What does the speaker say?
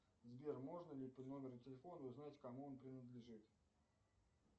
сбер можно ли по номеру телефона узнать кому он принадлежит